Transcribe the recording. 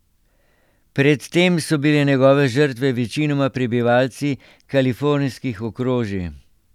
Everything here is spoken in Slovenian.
Pred tem so bile njegove žrtve večinoma prebivalci kalifornijskih okrožij.